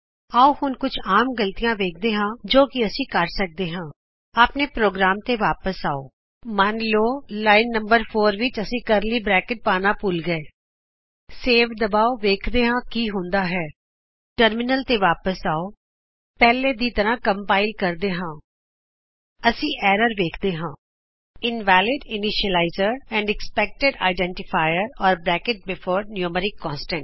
ਆਓ ਹੁਣ ਕੁਝ ਆਮ ਗ਼ਲਤੀਆ ਵੇਖਦੇ ਹਾਂ ਜੋ ਕਿ ਅਸੀਂ ਕਰ ਸਕਦੇ ਹਾਂ ਆਪਣੇ ਪ੍ਰੋਗਰਾਮ ਤੇ ਵਾਪਿਸ ਆਓ ਮੰਨ ਲਾਓ ਲਾਇਨ ਨੰਬਰ 4 ਵਿੱਚ ਅਸੀਂ ਕਰਲੀ ਬਰੈਕਟ ਪਾਉਣਾ ਭੁਲ ਗਏ ਸੇਵ ਦਬਾਓ ਵੇਖਦੇ ਹਾਂ ਕੀ ਹੁੰਦਾ ਹੈ ਟਰਮੀਨਲ ਤੇ ਵਾਪੀਸ ਆਓ ਪਹਿਲਾਂ ਦੀ ਤਰਹ ਕੰਪਾਇਲ ਕਰਦੇ ਹਾਂ ਅਸੀਂ ਏਰਰ ਵੇਖਦੇ ਹਾਂ invalid initializer and expected identifier or bracket before numeric constant